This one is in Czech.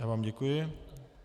Já vám děkuji.